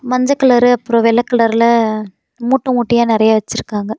மஞ்ச கலர் அப்புறம் வெள்ள கலர்ல மூட்ட மூட்டையா நெறைய வச்சிருக்காங்க.